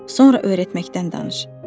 Sonra öyrətməkdən danış.